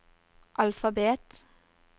alfabet